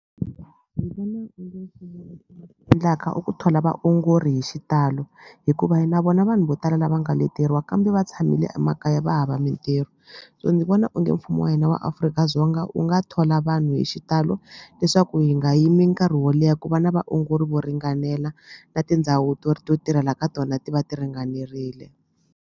Ndzi vona mpfumo endlaka i ku thola vaongori hi xitalo hikuva hi na vona vanhu vo tala lava nga leteriwa kambe va tshamile emakaya va hava mintirho so ndzi vona onge mfumo wa hina wa Afrika-Dzonga u nga thola vanhu hi xitalo leswaku hi nga yimi nkarhi wo leha ku va na vaongori vo ringanela na tindhawu to tirhela ka tona ti va ti ringanerile.